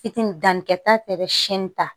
Fitini danni kɛ ta bɛ ta